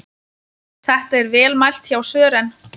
Þetta er vel mælt hjá Sören.